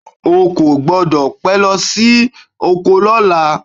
O kò gbọ́dọ̀ pé lọ sí oko lọ́la.